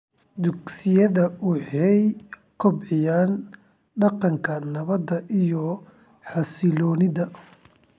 Dugsiyada waxay kobciyaan dhaqanka nabadda iyo xasilloonida.